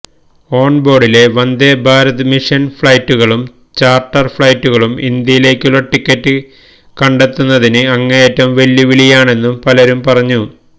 ഓണ്ബോര്ഡിലെ Vande Bharat mission ഫ്ലൈറ്റുകളും charter ഫ്ലൈറ്റുകളും ഇന്ത്യയിലേക്കുള്ള ടിക്കറ്റ് കണ്ടെത്തുന്നത് അങ്ങേയറ്റം വെല്ലുവിളിയാണെന്നും പലരും പറഞ്ഞു